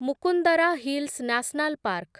Mukundra Hills National park